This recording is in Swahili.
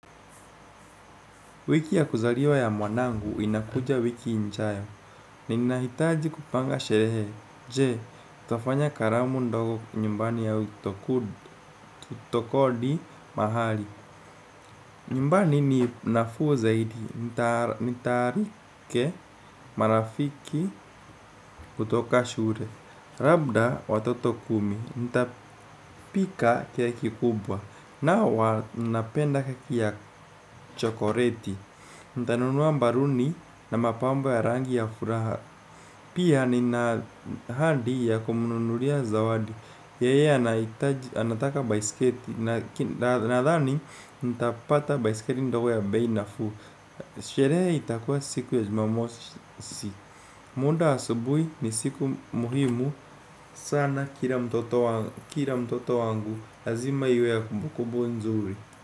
Wiki ya kuzaliwa ya mwanangu inakuja wiki injayo. Ninahitaji kupanga sherehe. Je, tafanya karamu ndogo nyumbani au itokodi mahali. Nyumbani ni nafuu zaidi. Nitarike marafiki kutoka shure. Rabda watoto kumi. Ntapika keki kubwa. Na wapenda keki ya chokoreti. Ntanunua mbaruni na mapambo ya rangi ya furaha. Pia nina ahadi ya kumununuria zawadi. Yeye anataka biskeli nadhani. Ntapata baiskeri ndogo ya bei nafuu. Sherehe itakuwa siku ya jumamosi. Munda asubui ni siku muhimu sana kira mtoto wangu azima iwe ya kubu kubu nzuri.